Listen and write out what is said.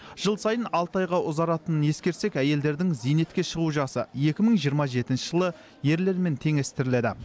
жыл сайын алты айға ұзаратынын ескерсек әйелдердің зейнетке шығу жасы екі мың жиырма жетінші жылы ерлермен теңестіріледі